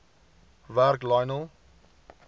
werk lionel